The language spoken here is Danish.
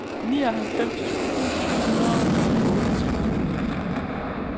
nioghalvtreds tusind syv hundrede og otteogtredive